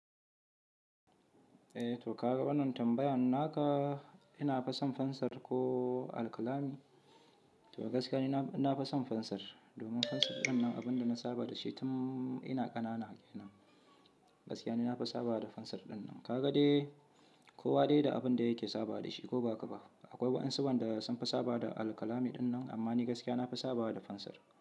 Eh to ka ga wannan tambayan naka, ina fa son fansir ko alkalami? To gaskiya ni na fason fansar domin fansar dinnan abinda na saba da shi tun ina ƙanana. Gaskiya ni nafi saba da pencil dinnan. Ka ga dai ko wa dai da abinda yake saba da shi ko baka ba. Akwai wasu wanda sun fi saba da alkalami dinnan amma ni gaskiya nafi saba da fansar.